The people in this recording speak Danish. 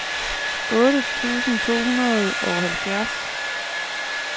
otte tusind to hundrede og halvfjerds